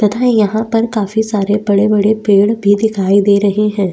तथा यहाँ पर काफी सारे बड़े-बड़े पेड़ भी दिखाई दे रहे है।